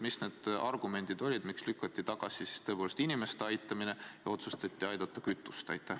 Mis need argumendid olid, miks lükati tagasi inimeste aitamine ja otsustati aidata kütust?